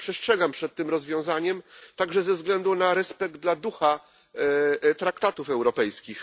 Bardzo przestrzegam przed tym rozwiązaniem, także ze względu na respekt dla ducha traktatów europejskich.